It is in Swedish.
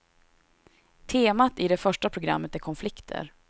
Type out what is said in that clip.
Temat i det första programmet är konflikter.